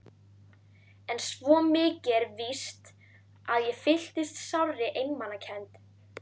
En svo mikið er víst að ég fylltist sárri einmanakennd.